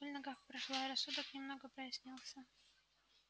боль в ногах прошла и рассудок немного прояснился